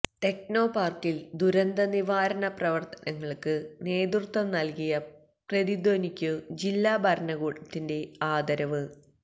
ടെക്നോപാർക്കിൽ ദുരന്ത നിവാരണ പ്രവർത്തനങ്ങൾക്ക് നേതൃത്വം നൽകിയ പ്രതിധ്വനിക്കു ജില്ലാ ഭരണകൂടത്തിന്റെ ആദരവ്